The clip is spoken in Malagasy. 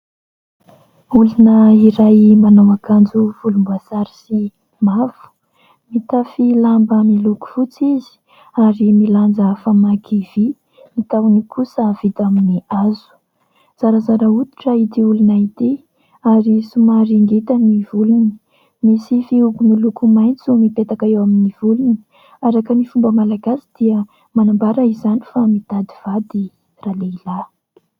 Olona iray manao akanjo volomboasary sy mavo, mitafy lamba miloko fotsy izy ary milanja famaky vy, ny tahony kosa vita amin'ny hazo. Zarazara hoditra ity olona ity ary somary ngita ny volony. Misy fihogo miloko maitso mipetaka eo amin'ny volony. Araka ny fomba malagasy dia manambara izany fa mitady vady ralehilahy.